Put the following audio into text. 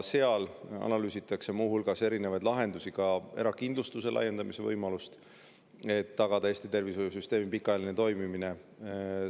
Seal analüüsitakse muu hulgas erinevaid lahendusi, ka erakindlustuse laiendamise võimalust, et tagada Eesti tervishoiusüsteemi pikaajaline toimimine.